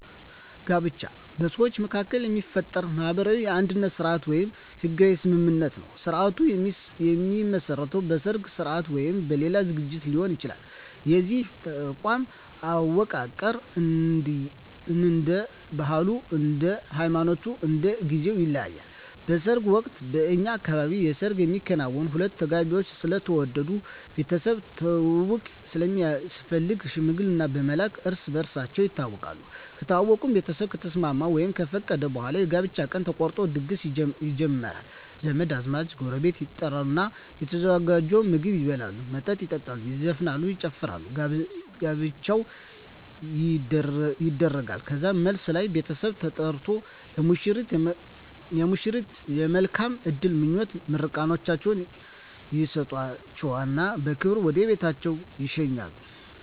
ጋብቻ በሰዎች መካከል የሚፈጠር ማህበራዊ የአንድነት ስርአት ወይም ህጋዊ ስምምነት ነዉ ስርአቱ የሚመሰረተዉ በሰርግ ስርአት ወይም በሌላ ዝግጅት ሊሆን ይችላል የዚህ ተቋም አወቃቀር እንደየ ባህሉ እንደየ ሃይማኖቱ እና እንደየ ጊዜዉ ይለያያል በሰርግ ወቅት በእኛ አካባቢ የሰርግ የሚከናወነዉ ሁለቱ ተጋቢዎች ስለተዋደዱ ቤተሰብ ትዉዉቅ ስለሚያስፈልግ ሽምግልና በመላክ እርስ በርሳቸዉ ይተዋወቃሉ ከተዋወቁእና ቤተሰብ ከተስማሙ ወይም ከፈቀዱ በኋላ የጋብቻ ቀን ተቆርጦ ድግስ ይጀመራል ዘመድ አዝማድ ጎረቤት ይጠሩና የተዘጋጀዉን ምግብ ይበላሉ መጠጥ ይጠጣሉ ይዘፈናል ይጨፈራል ጋብቻዉ ይደረጋል ከዛም መልስ ላይ ቤተሰብ ተጠርቆ ለሙሽሮች የመልካም እድል ምኞታቸዉን ምርቃታቸዉን ይሰጧቸዉና በክብር ወደ ቤታቸዉ ይሸኛሉ